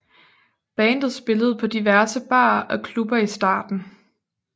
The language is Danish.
Bandet spillede på diverse barer og klubber i starten